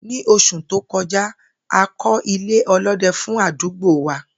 Ní os̩ù tó ko̩já, a kó̩ ilé̩ o̩ló̩de̩ fún àdúgbò wa